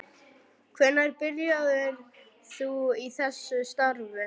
Hvenær byrjaðir þú í þessu starfi?